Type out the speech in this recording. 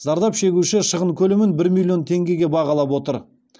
зардап шегуші шығын көлемін бір миллион теңгеге бағалап отыр